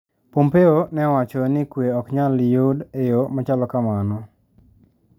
Pompeo ne owacho ni kwe ok nyal yud e yo machalo kamano.